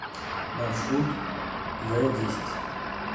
маршрут вэдесять